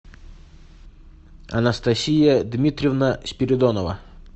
анастасия дмитриевна спиридонова